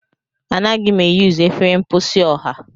Anaghị m eyuzu efere mposi ọha.